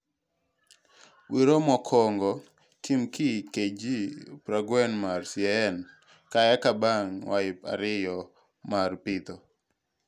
Wiro mokwongo tim gi KG prangwen mar CAN ka eka bang wige ariyo mar pitho.